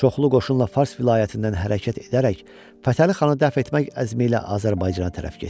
Çoxlu qoşunla Fars vilayətindən hərəkət edərək, Fətəli xanı dəf etmək əzmi ilə Azərbaycana tərəf getdi.